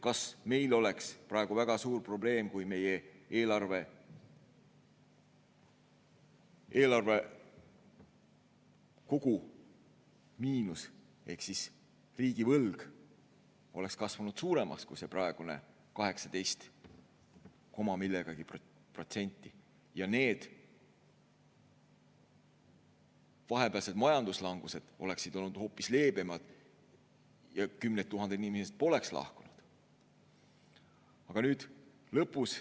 Kas meil oleks praegu väga suur probleem, kui meie eelarve kogumiinus ehk riigivõlg oleks kasvanud suuremaks kui see praegune 18 koma millegagi protsenti, need vahepealsed majanduslangused oleksid olnud hoopis leebemad ja kümned tuhanded inimesed poleks lahkunud?